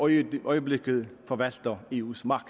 i øjeblikket forvalter eus magt